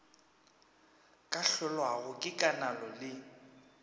ka hlolwago ke konalo le